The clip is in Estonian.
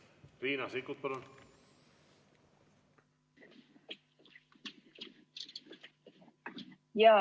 Riina Sikkut, palun!